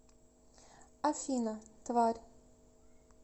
афина тварь